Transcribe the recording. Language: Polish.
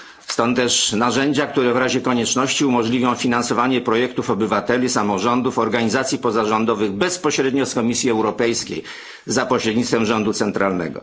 Stąd też narzędzia, które w razie konieczności umożliwią finansowanie projektów obywateli, samorządów, organizacji pozarządowych bezpośrednio z Komisji Europejskiej za pośrednictwem rządu centralnego.